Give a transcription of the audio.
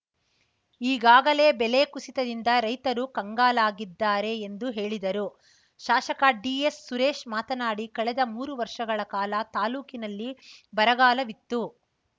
ಈಗಾಗಲೇ ಬೆಲೆ ಕುಸಿತದಿಂದ ರೈತರು ಕಂಗಾಲಾಗಿದ್ದಾರೆ ಎಂದು ಹೇಳಿದರು ಶಾಸಕ ಡಿಎಸ್‌ ಸುರೇಶ್‌ ಮಾತನಾಡಿ ಕಳೆದ ಮೂರು ವರ್ಷಗಳ ಕಾಲ ತಾಲೂಕಿನಲ್ಲಿ ಬರಗಾಲತ್ತು